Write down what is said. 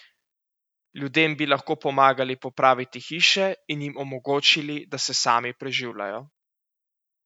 Ljudem bi lahko pomagali popraviti hiše in jim omogočili, da se sami preživljajo.